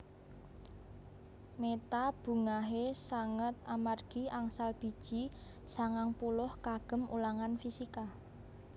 Meta bungahe sanget amargi angsal biji sangang puluh kagem ulangan fisika